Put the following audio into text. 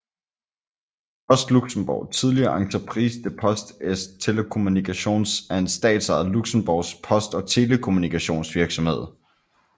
Post Luxembourg tidligere Entreprise des Postes et Télécommunications er en statsejet luxembourgsk post og telekommunikationsvirksomhed